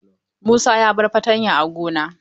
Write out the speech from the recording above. Musa ya bar fatanya a gona.